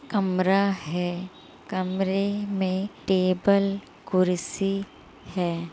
कमरा है कमरे में टेबल कुर्सी है।